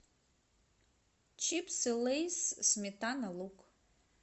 чипсы лейс сметана лук